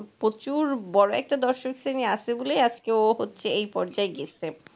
প্রচুর বড় একটা দর্শক শ্রেণী আছে বলে আজকে ও হচ্ছে এই পর্যায়ে গেছে